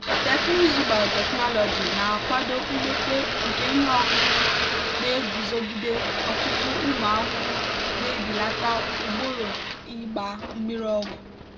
teknụzụ biotechnology na-akwado mmepe nke ihe ọkụkụ na-eguzogide ọtụtụ ụmụ ahụhụ na-ebelata ugboro ịgba mmiri ọgwụ.